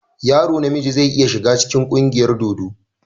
Yaro na miji zai iya shiga cikin ƙungiyar dodo.